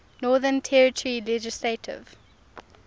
northern territory legislative